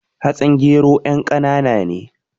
Hatsin gero yan kanaana ne